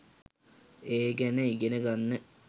ඒ ගැන ඉගෙන ගන්න.